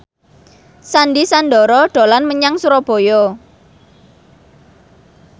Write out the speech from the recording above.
Sandy Sandoro dolan menyang Surabaya